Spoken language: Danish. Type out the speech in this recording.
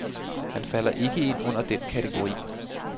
Han falder ikke ind under den kategori.